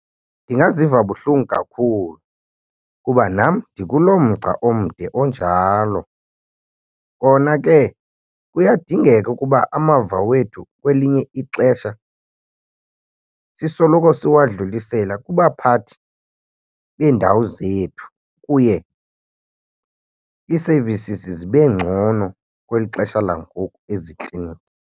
Ndingaziva buhlungu kakhulu kuba nam ndikuloo mgca omde onjalo. Kona ke kuyadingeka ukuba amava wethu kwelinye ixesha sisoloko siwadlulisela kubaphathi beendawo zethu kuye ii-services zibe ngcono kweli xesha langoku ezikliniki.